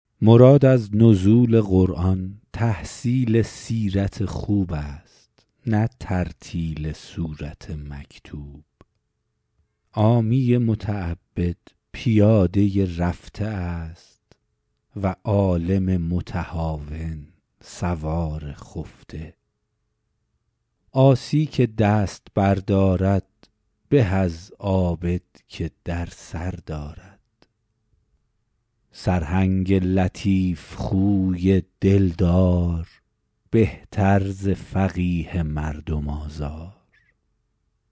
مراد از نزول قرآن تحصیل سیرت خوب است نه ترتیل سورت مکتوب عامی متعبد پیاده رفته است و عالم متهاون سوار خفته عاصی که دست بر دارد به از عابد که در سر دارد سرهنگ لطیف خوی دل دار بهتر ز فقیه مردم آزار